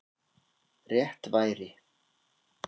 Rétt væri